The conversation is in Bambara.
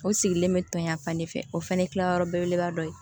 O sigilen bɛ ton yan fan de fɛ o fana kilayɔrɔ belebeleba dɔ ye